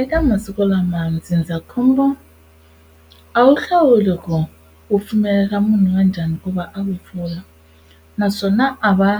Eka masiku lama ndzindzakhombo a wu hlawuli ku u pfumelela munhu wa njhani ku va a wu pfula naswona a va